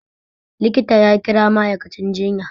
Likita ya kira ma'aikacin jiya